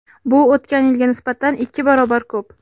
Bu o‘tgan yilga nisbatan ikki barobar ko‘p.